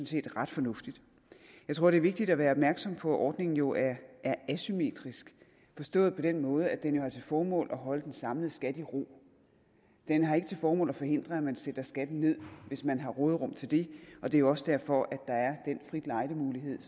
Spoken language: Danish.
set ret fornuftigt jeg tror det er vigtigt at være opmærksom på at ordningen jo er asymmetrisk forstået på den måde at den har til formål at holde den samlede skat i ro den har ikke til formål at forhindre at man sætter skatten ned hvis man har råderum til det og det er jo også derfor at der er den frit lejde mulighed